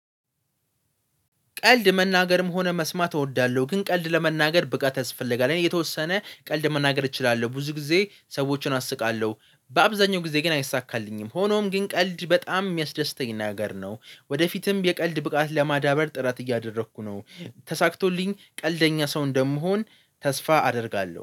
ቀልድ መናገርም ሆነ መስማት እወዳለሁ ግን ቀልድ ለመናገር ብቃት ያስፈለጋል የተወሰነ ቀልድ መናገር እችላለሁ ብዙ ጊዜ ሰዎችን አስቃለሁ በአብዛኛው ጊዜ ግን አይሳካልኝም ሆኖም ግን ቀልድ በጣም የሚያስደስተኝ ነገር ነው። ወደፊትም የቀልድ ብቃት ለማዳበር ጥረት እያደረኩ ነው። ተሳክቶልኝ ቀልደኛ ሰው እንደምሆን ተስፋ አደርጋለሁ